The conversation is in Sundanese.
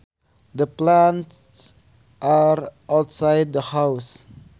The plants are outside the house